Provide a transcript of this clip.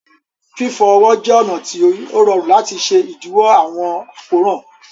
Fifọ ọwọ jẹ ọna ti o rọ̀run lati ṣẹ idiwọ awọn akóran.